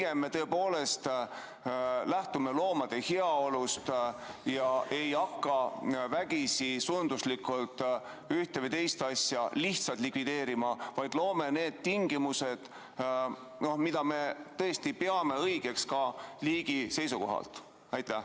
Ehk me pigem tõepoolest lähtume loomade heaolust ja ei hakka vägisi, sunni korras ühte või teist asja lihtsalt likvideerima, vaid laseme luua tingimused, mida me peame õigeks ka liigi seisukohalt?